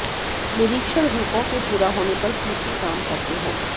निरीक्षण रूपों के पूरा होने पर सूची काम करते हैं